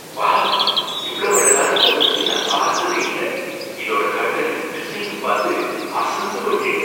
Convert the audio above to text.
Wow! இவ்வளவு அழகான மோதிரத்தை நான் பார்த்ததே இல்ல. இதோட கட்டையும் டிசைனும் பாத்து அசந்து போயிட்டேன்.